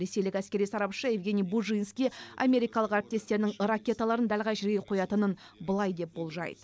ресейлік әскери сарапшы евгений бужинский америкалық әріптестерінің ракеталарын дәл қай жерге қоятынын былай деп болжайды